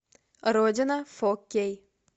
родина фо кей